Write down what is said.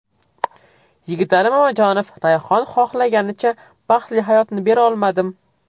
Yigitali Mamajonov: Rayhon xohlaganicha baxtli hayotni bera olmadim.